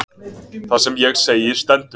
Það sem ég segi stendur.